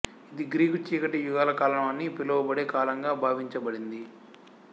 ఇది గ్రీకు చీకటి యుగాల కాలం అని పిలువబడే కాలంగా భావించబడింది